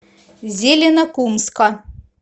зеленокумска